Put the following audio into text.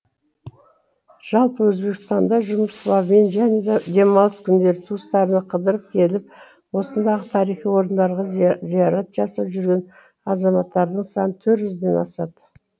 жалпы өзбекстанда жұмыс бабымен және демалыс күндері туыстарына қыдырып келіп осындағы тарихи орындарға зиярат жасап жүрген азаматтардың саны ден асады